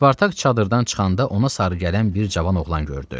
Spartak çadırdan çıxanda ona sarı gələn bir cavan oğlan gördü.